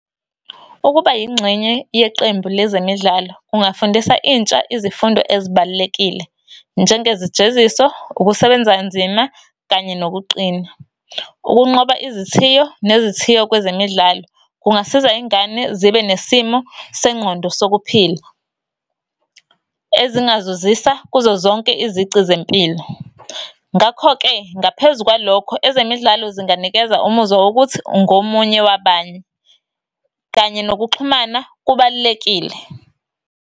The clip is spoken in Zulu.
Ukuba yingxenye yeqembu lezemidlalo, kungafundisa intsha izifundo ezibalulekile, njengezijeziso, ukusebenza kanzima, kanye nokuqina. Ukunqoba izithiyo, nezithiyo kwezemidlalo, kungasiza ingane zibe nesimo sengqondo sokuphila , ezingazuzisa kuzo zonke izici zempilo. Ngakho-ke, ngaphezu kwalokho, ezemidlalo zinganikeza umuzwa wokuthi ungomunye wabanye, kanye nokuxhumana kubalulekile.